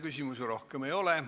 Küsimusi rohkem ei ole.